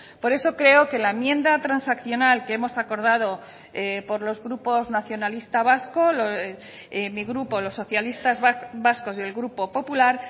por eso creo que la enmienda transaccional que hemos acordado por los grupos nacionalista vasco mi grupo los socialistas vascos y el grupo popular